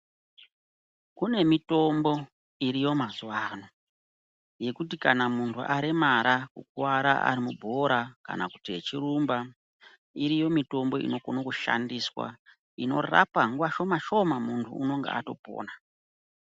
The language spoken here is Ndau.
Kune mitombo iriyo mazuwano yekuti kana muntu aremara, kukwara arimubhora kana kuti echirumba, iriyo mitombo inokone kushandiswa inorapa nguwa shoma shoma muntu unenge atopona.